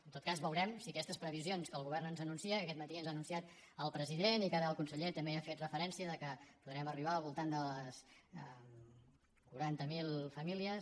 en tot cas veurem si aquestes previsions que el govern ens anuncia que aquest matí ens ha anunciat el president i que ara el conseller també hi ha fet referència que podrem arribar al voltant de les quaranta mil famílies